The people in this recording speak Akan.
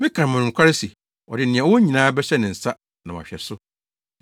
Meka mo nokware se ɔde nea ɔwɔ nyinaa bɛhyɛ ne nsa na wahwɛ so!